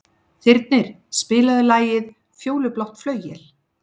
Þyrnir, spilaðu lagið „Fjólublátt flauel“.